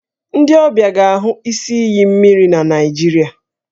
Ndị ọbịa ga-ahụ isi iyi mmiri na Nigeria